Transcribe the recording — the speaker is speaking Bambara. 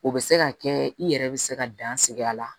O bɛ se ka kɛ i yɛrɛ bɛ se ka dan segi a la